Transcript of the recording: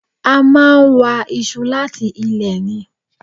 A máa wa iṣu láti ilẹ̀ ni